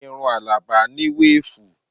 Irun Alaba ni weefu